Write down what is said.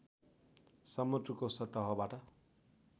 समुद्रको सतहबाट